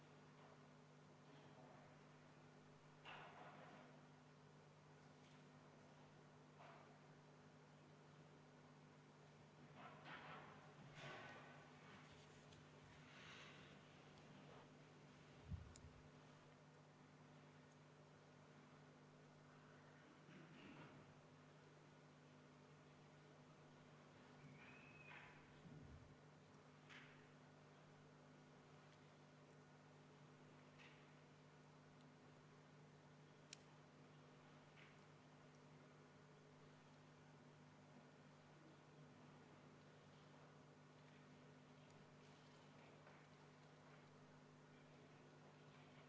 Siis ma palun kontrollida hääletamiskaste ja seda, et turvaplommid ei ole hääletamise ajal rikutud.